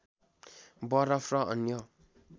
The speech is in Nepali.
बरफ र अन्य